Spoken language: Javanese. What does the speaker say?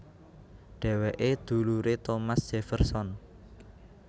Dhéwéké duluré Thomas Jefferson